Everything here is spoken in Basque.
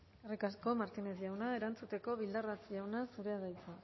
eskerrik asko martínez jauna erantzuteko bildarratz jauna zurea da hitza